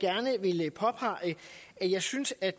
jeg synes at